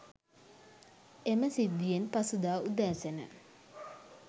එම සිද්ධියෙන් පසුදා උදැසන